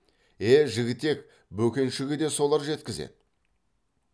е жігітек бөкеншіге де солар жеткізеді